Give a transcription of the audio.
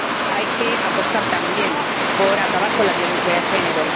Hay que apostar también por acabar con la violencia de género.